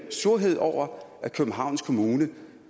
surhed over at københavns kommune